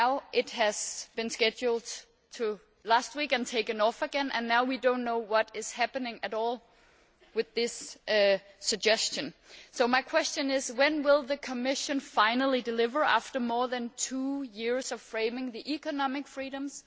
It was then scheduled for last week and then it was deferred again, and now we do not know what is happening at all with this suggestion. My question is when will the Commission finally deliver, after more than two years of framing its proposals on economic freedoms?